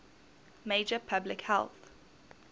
major public health